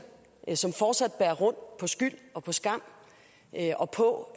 som fortsat bærer rundt på skyld og på skam og på